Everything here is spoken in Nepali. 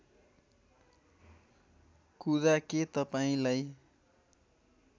कुरा के तपाईँलाई